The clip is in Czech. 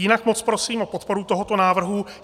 Jinak moc prosím o podporu tohoto návrhu.